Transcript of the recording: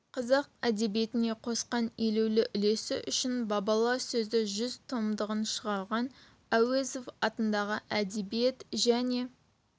қазақ әдебиетіне қосқан елеулі үлесі үшін бабалар сөзі жүз томдығын шығарған әуезов атындағы әдебиет және